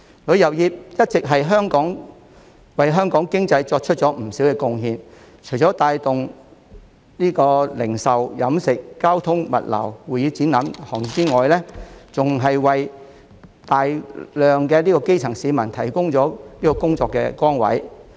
旅遊業一直為香港經濟作出不少貢獻，除帶動零售、飲食、交通、物流、會議展覽等行業之外，還為大量基層市民提供工作崗位。